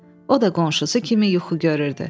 O da qonşusu kimi yuxu görürdü.